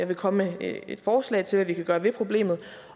vil komme med et forslag til hvad vi kan gøre ved problemet